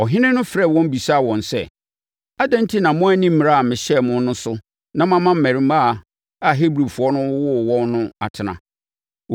Ɔhene no frɛɛ wɔn bisaa wɔn sɛ, “Adɛn enti na moanni mmara a mehyɛeɛ no so na moama mmarimaa a Hebrifoɔ no wowoo wɔn no atena?”